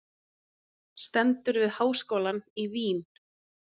Stendur við háskólann í Vín.